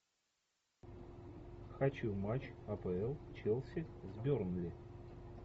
хочу матч апл челси с бернли